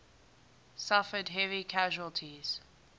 suffered heavy casualties